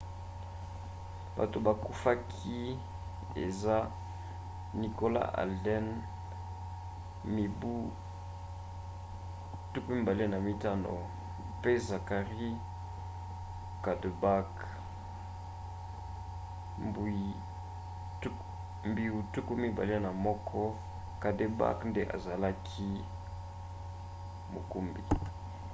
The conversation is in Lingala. bato bakufaki eza nicholas alden mibu 25 mpe zachary cuddeback mbiu 21. cuddeback nde azalaki mokumbi